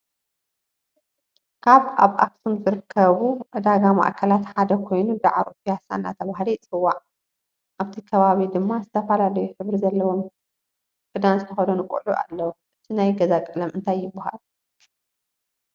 ካብ ኣብ ኣክሱም ዝርከቡ ዕዳጋ ማዕከላት ሓደ ኮይኑ ዳዕሮ ፓያሳ እናተባሃለ ይፅዋዕ ።ኣብቲ ከባቢ ድማ ዝተፈላለዩ ሕብሪ ዘለዎም ዘለዎ ክዳን ዝተከደኑ ቀልዑ ኣለዉ። እቲ ናይ ገዛ ቀለም እንታይ ይባሃል ?